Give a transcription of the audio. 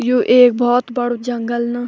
यु एक भोत बडू जंगल न।